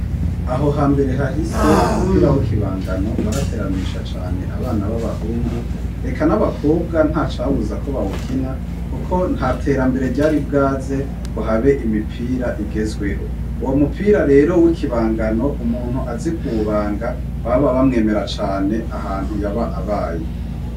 Aho ha mbere hahise umupira w'ikibangano warateramisha cane abana b'abahungu eka n'abakobwa nta cabuza ko bawukina kuko nta terambere ryari bwaze ngo habe imipira igezweho. Uwo mupira rero w'ikibangano umuntu azi kuwubanga baba bamwemera cane ahantu yaba abaye.